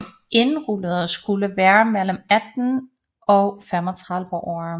Indrullerede skulle være mellem 18 og 35 år